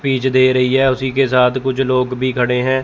Speech दे रही है उसी के साथ कुछ लोग भी खड़े हैं।